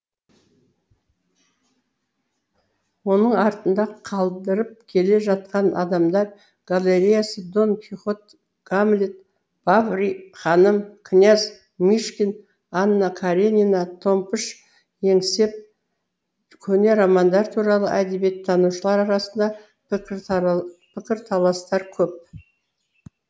оның артында қалдырып келе жатқаны адамдар галереясы дон кихот гамлет бовари ханым князь мышкин анна каренина томпыш еңсеп көне романдар туралы әдебиеттанушылар арасында пікірталастар көп